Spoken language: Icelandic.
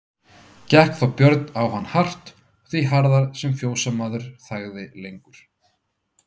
Gekk þá Björn á hann hart og því harðar sem fjósamaður þagði lengur.